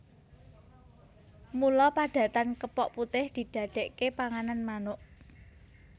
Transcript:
Mula padatan kepok putih didadékaké panganan manuk